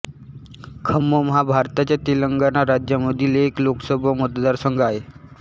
खम्मम हा भारताच्या तेलंगणा राज्यामधील एक लोकसभा मतदारसंघ आहे